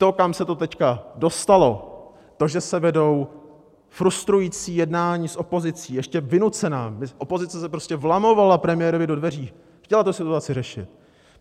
To, kam se to teď dostalo, to, že se vedou frustrující jednání s opozicí, ještě vynucená - opozice se prostě vlamovala premiérovi do dveří, chtěla tu situaci řešit.